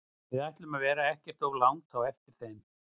Við ætlum að vera ekkert of langt á eftir þeim.